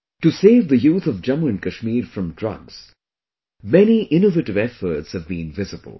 To save the youth of Jammu and Kashmir from drugs, many innovative efforts have been visible